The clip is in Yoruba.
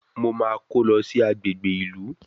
Mo máa kó lọ sí agbègbè ìlú